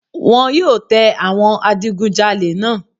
Wọ́n yóò tẹ àwọn adigunjalè náà